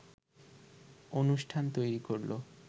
অনুষ্ঠান তৈরি করলো